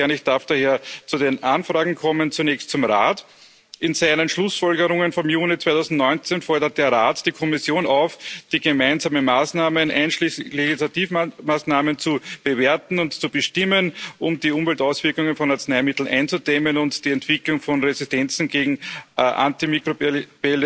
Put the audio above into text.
Ich darf daher zu den Anfragen kommen, zunächst zum Rat In seinen Schlussfolgerungen vom Juni 2019 fordert der Rat die Kommission auf, die gemeinsamen Maßnahmen, einschließlich Initiativmaßnahmen, zu bewerten und zu bestimmen, um die Umweltauswirkungen von Arzneimitteln einzudämmen und die Entwicklung von Resistenzen gegen antimikrobielle